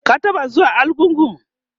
ka taɓa zuwa argungu?